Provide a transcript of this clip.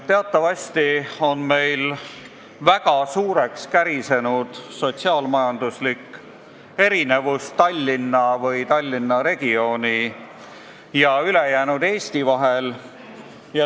Teatavasti on meil väga suureks kärisenud sotsiaal-majanduslik erinevus Tallinna või Tallinna regiooni ja ülejäänud Eesti vahel.